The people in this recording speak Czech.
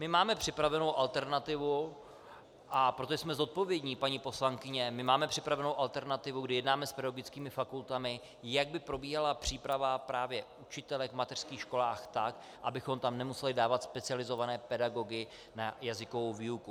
My máme připravenou alternativu, a protože jsme zodpovědní, paní poslankyně, my máme připravenou alternativu, kdy jednáme s pedagogickými fakultami, jak by probíhala příprava právě učitelek v mateřských školách tak, abychom tam nemuseli dávat specializované pedagogy na jazykovou výuku.